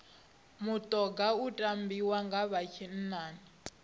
mutoga u tambiwa nga vha tshinnani